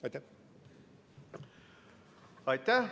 Aitäh!